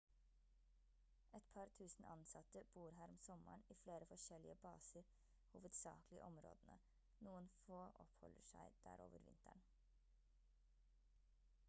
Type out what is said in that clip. et par tusen ansatte bor her om sommeren i flere forskjellige baser hovedsakelig i områdene noen få oppholder seg der over vinteren